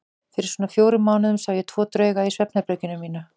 Fyrir svona fjórum mánuðum sá ég tvo drauga í svefnherberginu mínu.